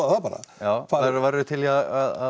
það bara værir þú til í að